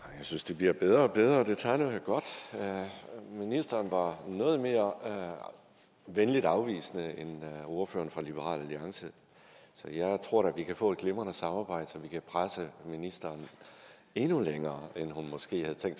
synes det bliver bedre og bedre det tegner da godt ministeren var noget mere venligt afvisende end ordføreren for liberal alliance så jeg tror da vi kan få et glimrende samarbejde så vi kan presse ministeren endnu længere end hun måske havde tænkt